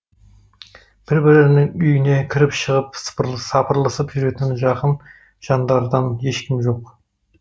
бір бірінің үйіне кіріп шығып сапырылысып жүретін жақын жандардан ешкім жоқ